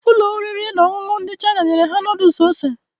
Ụlọ oriri na ọṅụṅụ ndị China nyere ha noodles ose